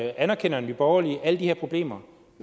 anerkender nye borgerlige alle de her problemer